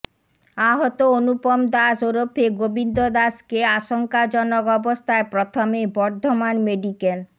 আহত অনুপম দাস ওরফে গোবিন্দ দাসকে আশঙ্কাজনক অবস্থায় প্রথমে বর্ধমান মেডিকেল